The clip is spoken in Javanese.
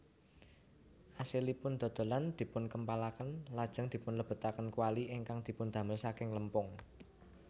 Asilipun dodolan dipunkempalaken lajeng dipunlebetaken kwali ingkang dipundamel saking lempung